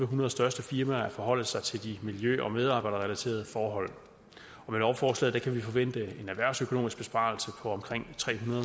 hundrede største firmaer at forholde sig til miljø og medarbejderrelaterede forhold og med lovforslaget kan vi forvente en erhvervsøkonomisk besparelse på omkring tre hundrede